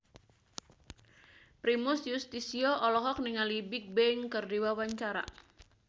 Primus Yustisio olohok ningali Bigbang keur diwawancara